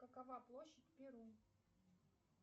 какова площадь перу